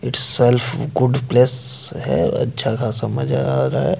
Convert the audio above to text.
Itself good place है अच्छा खासा मज़ा आ रहा है।